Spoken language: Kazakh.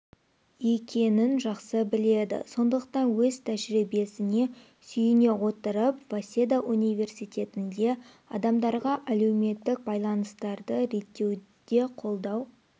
екенін жақсы біледі сондықтан өз тәжірибесіне сүйене отырып васеда университетінде адамдарға әлеуметтік байланыстарды реттеуде қолдау